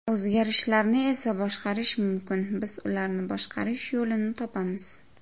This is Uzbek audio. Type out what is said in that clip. O‘zgarishlarni esa boshqarish mumkin, biz ularni boshqarish yo‘lini topamiz.